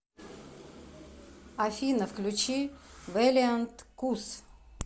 афина включи вэлиант кус